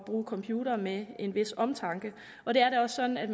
bruge computere med en vis omtanke og det er da også sådan at